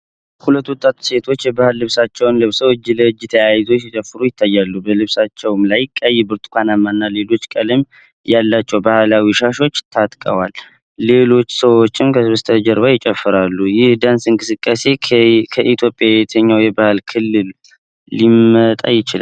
ሁለት ወጣት ሴቶች የባህል ልብሶችን ለብሰው እጅ ለእጅ ተያይዘው ሲጨፍሩ ይታያል። በልብሳቸው ላይ ቀይ፣ ብርቱካናማ እና ሌሎች ቀለም ያላቸው ባህላዊ ሻሾች ታጥቀዋል። ሌሎች ሰዎችም በስተጀርባ ይጨፍራሉ። ይህ የዳንስ እንቅስቃሴ ከኢትዮጵያ የትኛው የባህል ክልል ሊመጣ ይችላል?